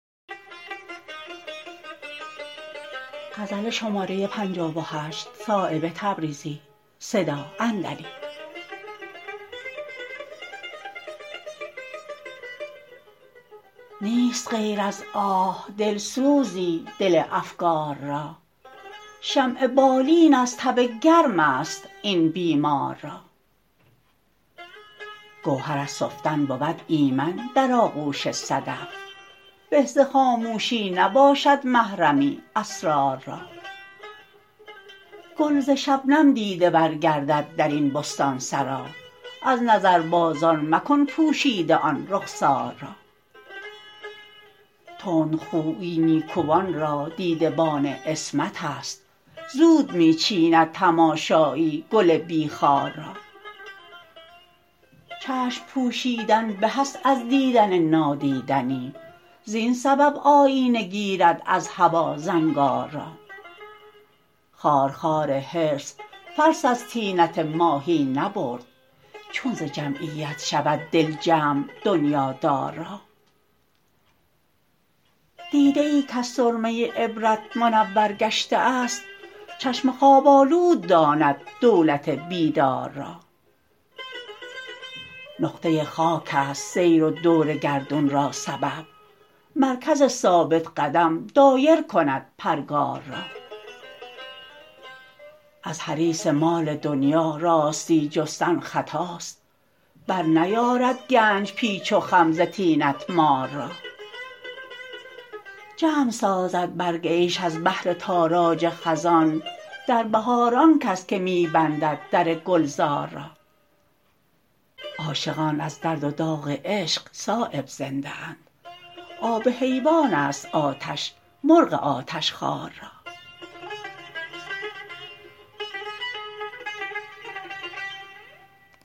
نیست غیر از آه دلسوزی دل افگار را شمع بالین از تب گرم است این بیمار را گوهر از سفتن بود ایمن در آغوش صدف به ز خاموشی نباشد محرمی اسرار را گل ز شبنم دیده ور گردد درین بستانسرا از نظربازان مکن پوشیده آن رخسار را تندخویی نیکوان را دیده بان عصمت است زود می چیند تماشایی گل بی خار را چشم پوشیدن به است از دیدن نادیدنی زین سبب آیینه گیرد از هوا زنگار را خارخار حرص فلس از طینت ماهی نبرد چون ز جمعیت شود دل جمع دنیادار را دیده ای کز سرمه عبرت منور گشته است چشم خواب آلود داند دولت بیدار را نقطه خاک است سیر و دور گردون را سبب مرکز ثابت قدم دایر کند پرگار را از حریص مال دنیا راستی جستن خطاست برنیارد گنج پیچ و خم ز طینت مار را جمع سازد برگ عیش از بهر تاراج خزان در بهار آن کس که می بندد در گلزار را عاشقان از درد و داغ عشق صایب زنده اند آب حیوان است آتش مرغ آتشخوار را